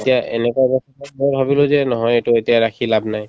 এতিয়া এনেকুৱা অৱস্থা মই ভাবিলো যে নহয় এইটো এতিয়া ৰাখি লাভ নাই